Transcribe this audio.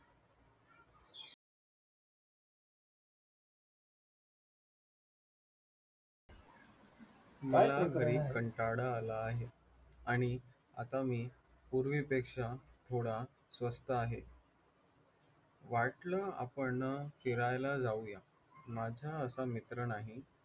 मला घरी कंटाळा आला आहे आणि आता मी पूर्वीपेक्षा स्वस्थ आहे. वाटलं आपण फिरायला जाऊया, माझा असा मित्र नाही